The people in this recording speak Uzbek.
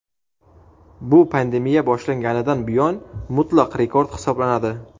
Bu pandemiya boshlanganidan buyon mutlaq rekord hisoblanadi.